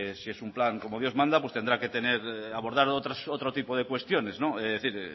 si es un plan como dios manda tendrá que tener abordar otro tipo de cuestiones es decir